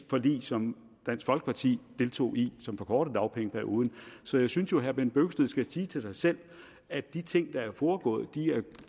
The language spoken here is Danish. forlig som dansk folkeparti deltog i som forkortede dagpengeperioden så jeg synes jo at herre bent bøgsted skal sige til sig selv at de ting der er foregået